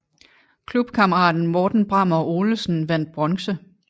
Klubkammeraten Morten Brammer Olesen vandt bronze